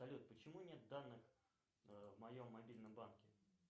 салют почему нет данных в моем мобильном банке